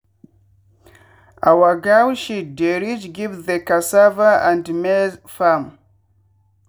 our goat shit dey reach give the cassava and maize farm.